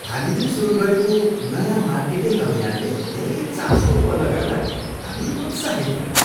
हामीले सुरु गरेको नयाँ मार्केटिङ अभियानले धेरै चासो उत्पन्न गर्दा हामी उत्साहित भयौँ।